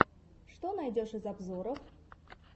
что найдешь из обзоров